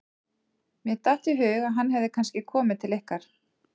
Mér datt í hug að hann hefði kannski komið til ykkar.